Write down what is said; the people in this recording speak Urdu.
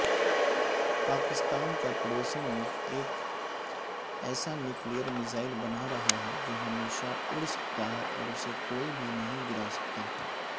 پاکستان کاپڑوسی ملک ایک ایسانیوکلیئرمیزائل بنارہاہے جوہمیشہ اڑ سکتاہے اوراسے کوئی بھی نہیں گراسکتا